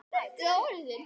Það er ekkert grín.